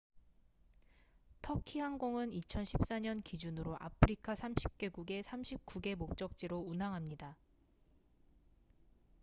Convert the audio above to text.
터키 항공은 2014년 기준으로 아프리카 30개국의 39개 목적지로 운항합니다